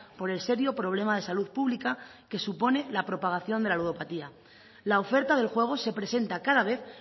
por el serio problema de salud pública que supone la propagación de la ludopatía la oferta del juego se presenta cada vez